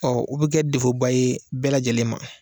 Ɔ o be kɛ defoba ye bɛɛ lajɛlen ma